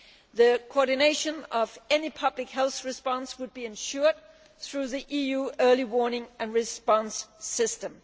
The coordination of any public health response would be ensured through the EU Early Warning and Response System.